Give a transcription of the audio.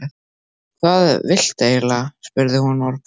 Hvað viltu eiginlega? spurði hún örg.